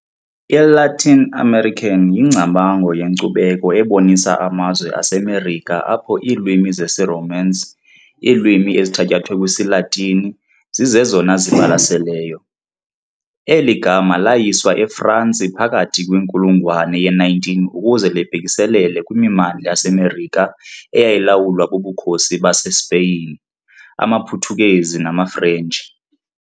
ILatin America yingcamango yenkcubeko ebonisa amazwe aseMerika apho iilwimi zesiRomance - iilwimi ezithatyathwe kwisiLatini - zizezona zibalaseleyo. Eli gama layilwa eFransi phakathi kwinkulungwane ye-19 ukuze libhekiselele kwimimandla yaseMerika eyayilawulwa bubukhosi baseSpeyin, amaPhuthukezi namaFrentshi.